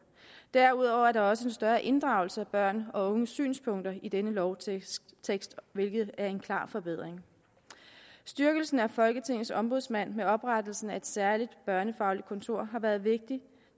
derudover er der også en større inddragelse af børns og unges synspunkter i denne lovtekst hvilket er en klar forbedring styrkelsen af folketingets ombudsmand med oprettelsen af et særligt børnefagligt kontor har været vigtig